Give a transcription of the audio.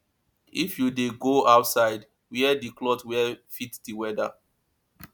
if you dey go outside wear di cloth wey fit di weather